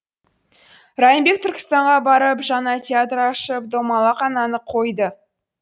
райымбек түркістанға барып жаңа театр ашып домалақ ананы қойды